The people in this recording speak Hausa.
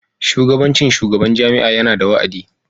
Shugabancin shugaban jami'a yana da wa'adi.